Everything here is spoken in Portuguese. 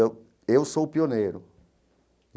Eu eu sou o pioneiro.